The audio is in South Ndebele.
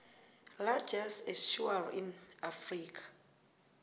largest estuary in africa